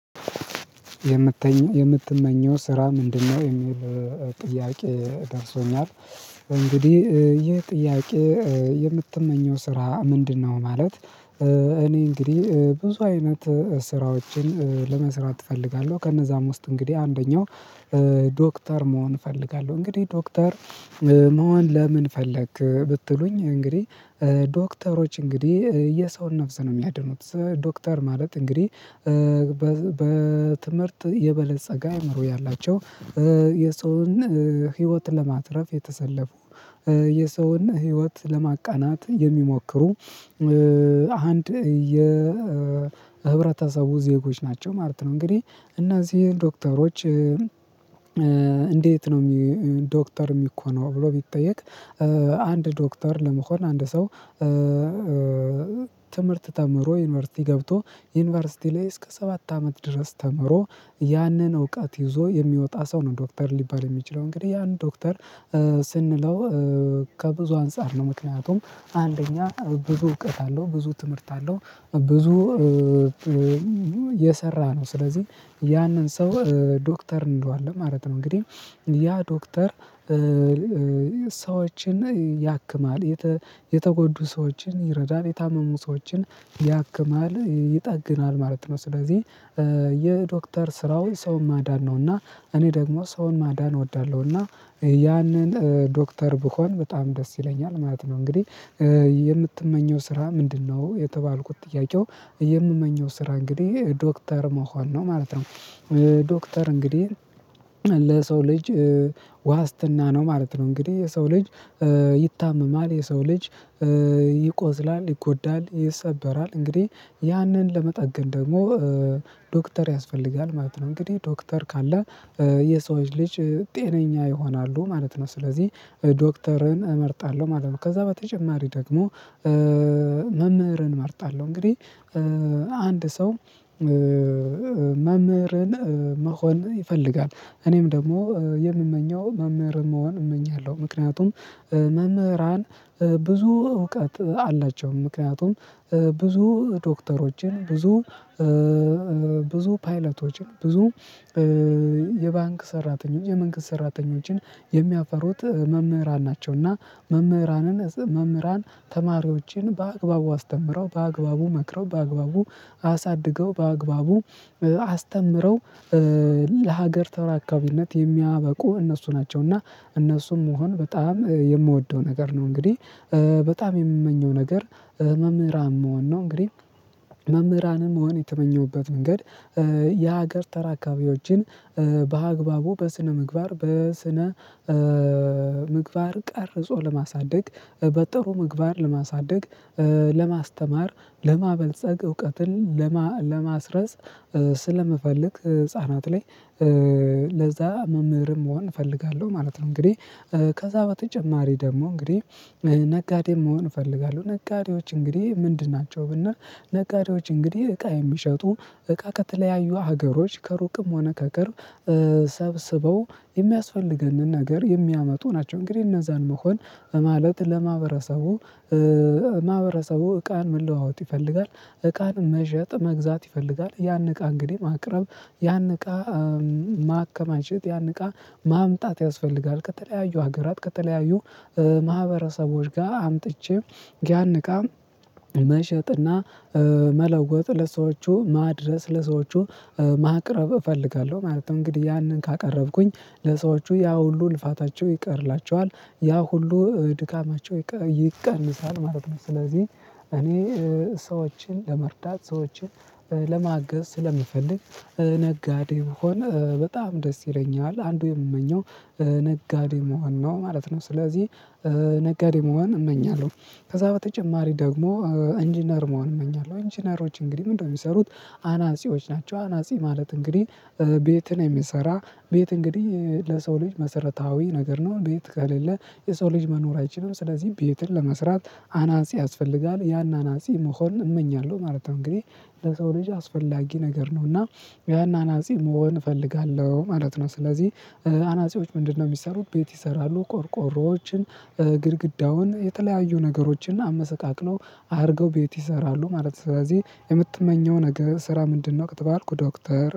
የምትመኘው ስራ ምንድነው የሚል ጥያቄ ደርሶኛል እንግዲህ ይህ ጥያቄ የምትመኘው ስራ ምንድነው? ማለት እኔ እንግዲህ ብዙ አይነት ስራዎችን ለመስራት እፈልጋለሁ። ከእነዛም ውስጥ እንግዲህ አንደኛው ዶክተር መሆን እፈልጋለሁ። እንግዲህ ዶክተር መሆን ለምን ፈለክ ብትሉኝ? እንግዲህ ዶክተሮች እንግዲህ የሰውን ነፍስ ነው ሚያድኑት ዶክተር ማለት እንግዲህ። በትምህርት የበለፀገ አይምሮ ያላቸው የሰውን ህይወት ለማትረፍ የተሰለፉ የሰውን ህይወት ለማቃናት የሚሞክሩ አንድ የህብረተሰቡ ዜጎች ናቸው ማለት ነው። እንግዲህ እነዚህን ዶክተሮች። እንዴት ነው ዶክተር ሚኮነው ብሎ ቢጠየቅ? አንድ ዶክተር ለመሆን አንድ ሰው ትምህርት ተምሮ ዩኒቨርሲቲ ገብቶ ዩኒቨርሲቲ ላይ እስከ ሰባት አመት ድረስ ተምሮ ያንን እውቀት ይዞ የሚወጣ ሰው ነው ዶክተር ሊባል የሚችለው። እንግዲህ ያን ዶክተር ስንለው ከብዙ አንፃር ነው ምክንያቱም። አንደኛ ብዙ እውቀት አለው ብዙ ትምህርት አለው ብዙ የሰራ ነው። ስለዚህ ያንን ሰው ዶክተር እንለው አለን ማለት ነው። እንግዲህ ያ ዶክተር። ሰዎችን ያክማል የተጎዱ ሰዎችን ይረዳል የታመሙ ሰዎችን ያክማል ይጠግናል ማለት ነው። ስለዚህ የዶክተር ስራው ሰው ማዳን ነው። እና እኔ ደግሞ ሰውን ማዳን እወዳለሁ። እና ያነን ዶክተር ብሆን በጣም ደስ ይለኛል ማለት ነው። እንግዲህ የምትመኘው ስራ ምንድነው? የተባልኩት ጥያቄው የምመኘው ስራ እንግዲህ ዶክተር መሆን ነው ማለት ነው። ዶክተር እንግዲህ ለሰው ልጅ ዋስትና ነው ማለት ነው። እንግዲህ የሰው ልጅ ይታመማል የሰው ልጅ ይቆዝላል ይጎዳል ይሰበራል እንግዲህ ያንን ለመጠገን ደግሞ ዶክተር ያስፈልጋል ማለት ነው። እንግዲህ ዶክተር ካለ የሰዎች ልጅ ጤነኛ ይሆናሉ ማለት ነው። ስለዚህ ዶክተርን እመርጣለሁ ማለት ነው። ከዛ በተጨማሪ ደግሞ። መምህርን እመርጣለሁ እንግዲህ አንድ ሰው መምህርን መሆን ይፈልጋል እኔም ደግሞ የምመኘው መምህር መሆን እመኛለሁ። ምክንያቱም መምህራን ብዙ እውቀት አላቸው። ምክንያቱም ብዙ ዶክተሮችን ብዙ ብዙ ፓይለቶችን ብዙ የባንክ ሰራተኞች የመንግስት ሰራተኞችን የሚያፈሩት መምህራን ናቸው። እና መምህራንን መምህራን ተማሪዎችን በአግባቡ አስተምረው በአግባቡ መክረው በአግባቡ አሳድገው በአግባቡ አስተምረው ለሀገር ተራካቢነት የሚያበቁ እነሱ ናቸው። እና እነሱም መሆን በጣም የምወደው ነገር ነው። እንግዲህ በጣም የምመኘው ነገር መምህራን መሆን ነው። እንግዲህ መምህራንን መሆን የተመኘሁበት ምንገድ የሀገር ተራካቢዎችን በአግባቡ በስነ ምግባር በስነ ምግባር ቀርጾ ለማሳደግ በጥሩ ምግባር ለማሳደግ ለማስተማር ለማበልጸግ እውቀትን ለማስረጽ ስለምፈልግ ህፃናት ላይ ለዛ መምህርም መሆን እፈልጋለሁ ማለት ነው። እንግዲህ ከዛ በተጨማሪ ደግሞ እንግዲህ ነጋዴም መሆን እፈልጋለሁ። ነጋዴዎች እንግዲህ ምንድን ናቸው ብንል? ነጋዴዎች እንግዲህ እቃ የሚሸጡ እቃ ከተለያዩ ሀገሮች ከሩቅም ሆነ ከቅርብ ሰብስበው የሚያስፈልገንን ነገር የሚያመጡ ናቸው። እንግዲህ እነዛን መሆን ማለት ለማህበረሰቡ ማህበረሰቡ እቃን መለዋወጥ ይፈልጋል እቃን መሸጥ መግዛት ይፈልጋል ያን እቃ እንግዲህ ማቅረብ ያን እቃ ማከማቸት ያን እቃ ማምጣት ያስፈልጋል። ከተለያዩ ሀገራት ከተለያዩ ማህበረሰቦች ጋር አምጥቼ ያን እቃ መሸጥና መለወጥ ለሰዎቹ ማድረስ ለሰዎቹ ማቅረብ እፈልጋለሁ ማለት ነው። እንግዲህ ያንን ካቀረብኩኝ ለሰዎቹ ያ ሁሉ ልፋታቸው ይቀርላቸዋል ያ ሁሉ ድካማቸው ይቀንሳል ማለት ነው። ስለዚህ እኔ ሰዎችን ለመርዳት ሰዎችን ለማገዝ ስለምፈልግ ነጋዴ መሆን በጣም ደስ ይለኛል። አንዱ የምመኘው ነጋዴ መሆን ነው ማለት ነው። ስለዚህ ነጋዴ መሆን እመኛለሁ። ከዛ በተጨማሪ ደግሞ ኢንጂነር መሆን እመኛለሁ። ኢንጂነሮች እንግዲህ ምንድነው ሚሰሩት? አናጺዎች ናቸው አናጺ ማለት እንግዲህ ቤትን የሚሰራ ቤት እንግዲህ ለሰው ልጅ መሰረታዊ ነገር ነው። ቤት ከሌለ የሰው ልጅ መኖር አይችልም። ስለዚህ ቤትን ለመስራት አናጺ ያስፈልጋል ያን አናጺ መሆን እመኛለሁ ማለት ነው። እንግዲህ ለሰው ልጅ አስፈላጊ ነገር ነው። እና ያን አናጺ መሆን እፈልጋለሁ ማለት ነው። ስለዚህ አናጺዎች ምንድነው? ሚሰሩት ቤት ይሰራሉ ቆርቆሮዎችን ግድግዳውን የተለያዩ ነገሮችን እና አመሰቃቅለው አርገው ቤት ይሰራሉ ማለት ነው። ስለዚህ የምትመኘው ነገር ስራ ምንድነው ከተባልኩ ዶክተር